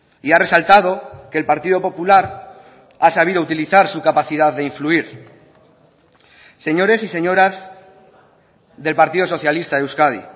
y ha resaltado que el partido popular ha sabido utilizar su capacidad de influir señores y señoras del partido socialista de euskadi